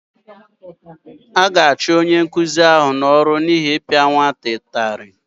A ga-achụ onye nkụzi ahụ n’ọrụ n’ihi ịpịa nwata ụtarị